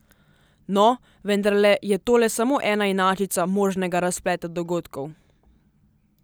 No, vendarle je tole samo ena inačica možnega razpleta dogodkov.